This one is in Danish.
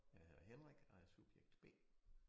Jeg hedder Henrik og er subjekt B